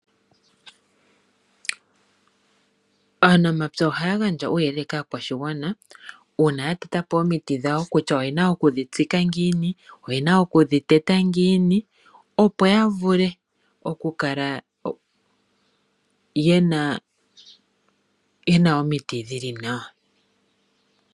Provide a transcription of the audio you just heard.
Aanamapya oha ya gandja uuyelele kaakwashigwana uuna ya tete po omiti dhawo kutya oye na oku dhi tsika ngiini, oye na okudhi teta ngiini opo ya vule oku kala ye na omiti dhi li nawa.